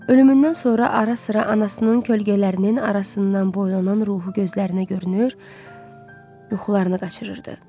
Ölümündən sonra ara-sıra anasının kölgələrinin arasından boylanan ruhu gözlərinə görünür, yuxularını qaçırırdı.